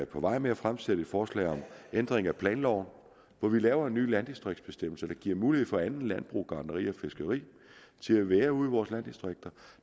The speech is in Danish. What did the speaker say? på vej med at fremsætte et forslag om ændring af planloven hvor vi laver en ny landdistriktsbestemmelse der giver mulighed for andet landbrug gartneri og fiskeri til at være ude i vores landdistrikter